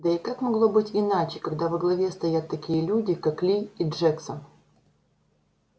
да и как могло быть иначе когда во главе стоят такие люди как ли и джексон